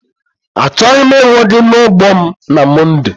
Achọghị m ịhụ gị n'ugbo m na Mọnde!